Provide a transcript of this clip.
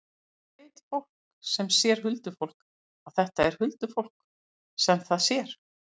Hvernig veit fólk sem sér huldufólk að þetta er huldufólk sem það sér?